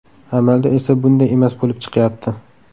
Amalda esa bunday emas bo‘lib chiqyapti.